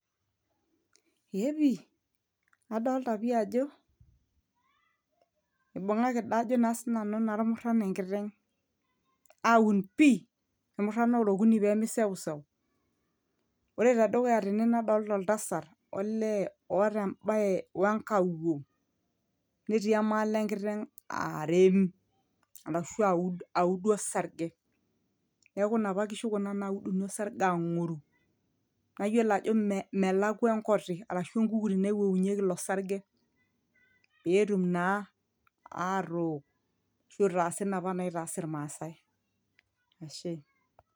eepi adolta pii ajo ibung'aki daa ajo naa sinanu naa irmuran enkiteng aun pii irmuran ora okuni pemi sewsew ore tedukuya tene nadolta oltasat olee oota embaye wenkawuo netii emaal enkiteng arem arashu aud audu osarge neeeku inapa kishu kuna nauduni osarge ang'oru nayiolo ajo melakwa enkoti arashu enkukuri naiwowunyieki ilo sarge petum naa atook ashu itaasi inapa naitaas irmasae ashe.